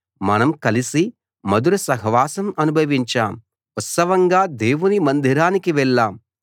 మనం కలిసి మధుర సహవాసం అనుభవించాం ఉత్సవంగా దేవుని మందిరానికి వెళ్లాం